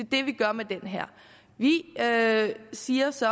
det vi gør med den her vi siger så